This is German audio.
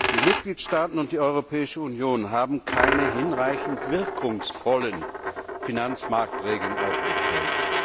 Die Mitgliedstaaten und die Europäische Union haben keine hinreichend wirkungsvollen Finanzmarktregeln aufgestellt.